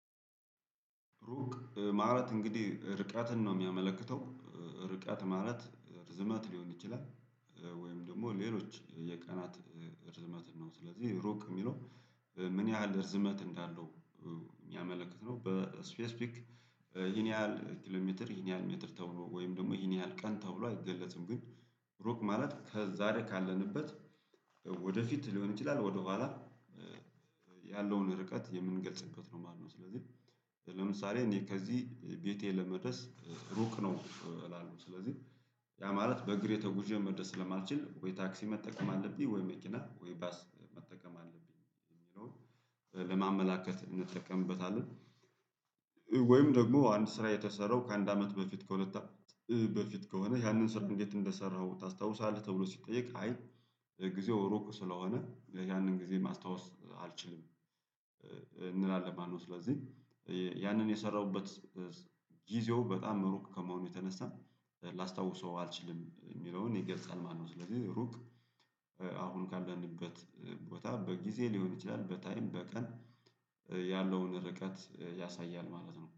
ሩቅ ማለት እንግዲህ ርቀትን ነው የሚያመለክተው ርቀት ማለት ርዝመት ሊሆን ይችላል። ወይም ደግሞ ሌሎች የቀናት ርዝመትን ነው ስለዚህ ሩቅ የሚለው ምን ያህል ርዝመት እንዳለው ሚያመለክት ነው? በስፔሲፊክ ይሄን ያህል ኪሎሜትር ይሄን ያህል ሜትር ተብሎ ወይም ደግሞ ይሄን ያህል ቀን ተብሎ አይገለጽም። ግን ሩቅ ማለት ከዛሬ ካለንበት ወደፊት ሊሆን ይችላል። ወደኋላ ያለውን ርቀት የምንገልጽበት ነው ማለት ነው። ስለዚህ ለምሳሌ እኔ ከዚህ ቤቴ ለመድረስ ሩቅ ነው እላለሁ። ስለዚህ ያ ማለት በእግር ተጉዤ መድረስ ስለማልችል ወይ ታክሲ መጠቀም አለብኝ ወይ መኪና ወይ ባስ መጠቀም አለብኝ የሚለውን ለማመላከት እንጠቀምበታለን። ወይም ደግሞ አንድ ስራ የተሰራው ከአንድ አመት በፊት ከሁለት በፊት ከሆነ ያንን ስራ እንዴት እንደሰራኸው ታስታውሳለህ? ተብሎ ሲጠየቅ አይ ጊዜው ሩቅ ስለሆነ ያንን ጊዜ ማስታወስ አልችልም እንላለን ማለት ነው። ስለዚህ ያንን የሰራሁበት ጊዜው በጣም ሩቅ ከመሆኑ የተነሳ ላስታውሰው አልችልም የሚለውን ይገልጻል ማለት ነው። ስለዚህ ሩቅ አሁን ካለንበት ቦታ በጊዜ ሊሆን ይችላል በታይም በቀን ያለውን ርቀት ያሳያል ማለት ነው